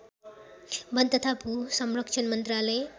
वन तथा भूसंरक्षण मन्त्रालय